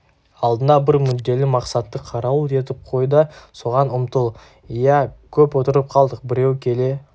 алдыңа бір мүдделі мақсатты қарауыл етіп қой да соған ұмтыл иә көп отырып қалдық біреу келе